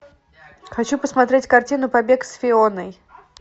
хочу посмотреть картину побег с фионой